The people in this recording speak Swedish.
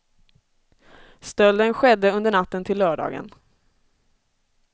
Stölden skedde under natten till lördagen.